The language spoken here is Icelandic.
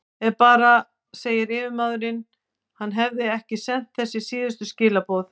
Ef bara segir yfirmaðurinn, hann hefði ekki sent þessi síðustu skilaboð.